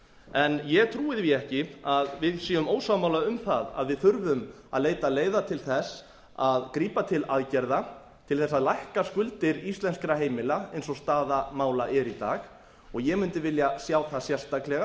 en ég trúi því ekki að við séum ósammála um það að við þurfum að leita leiða til þess að grípa til aðgerða til þess að lækka skuldir íslenskra heimila eins og staða mála er í dag og ég mundi vilja sjá þar sérstaklega